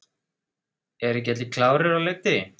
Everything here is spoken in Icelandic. Eru ekki allir klárir á leikdegi?